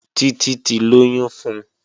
Títí ti lóyún fun